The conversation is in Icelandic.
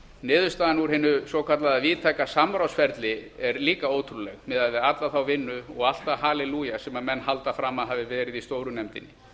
niðurstaðan úr hinu svokallaða víðtæka samráðsferli er líka ótrúleg miðað við alla þá vinnu og allt það hallelúja sem menn halda fram að hafi verið í stóru nefndinni